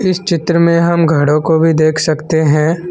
चित्र में हम घरों को भी देख सकते हैं।